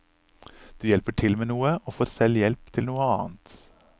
Du hjelper til med noe, og får selv hjelp til noe annet.